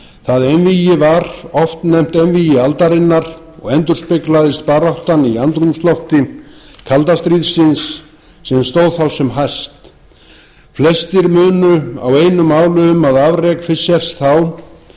það einvígi var oft nefnt einvígi aldarinnar og endurspeglaðist baráttan í andrúmslofti kalda stríðsins sem stóð þá sem hæst flestir munu á einu máli um að afrek fischers þá verði